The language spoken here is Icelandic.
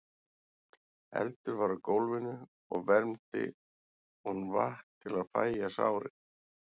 Eldur var á gólfinu og vermdi hún vatn til að fægja sárin.